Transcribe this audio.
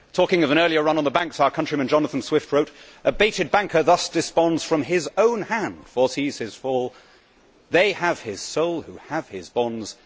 Talking of an earlier run on the banks, my countryman Jonathan Swift wrote A baited banker thus desponds, from his own hand foresees his fall, they have his soul who have his bonds